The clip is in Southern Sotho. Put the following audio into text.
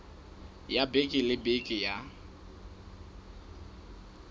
ya beke le beke ya